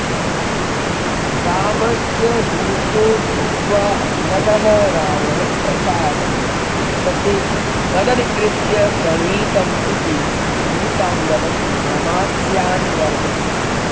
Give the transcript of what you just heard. रामस्य दूतो भूत्वा अङ्गदः रावणप्रासादं गच्छति तदधिकृत्य प्रणीतमिति दूताङ्गदं नामास्यान्वर्थम्